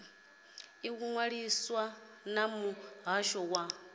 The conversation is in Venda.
ḓi ṅwalisa na muhasho wa